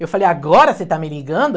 Eu falei, agora você está me ligando?